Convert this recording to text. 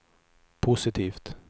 positivt